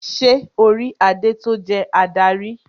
Ṣé orí adé tó jẹ́ adarí?